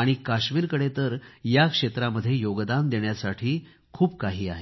आणि काश्मीरकडे तर या क्षे़त्रामध्ये योगदान देण्यासाठी खूप काही आहे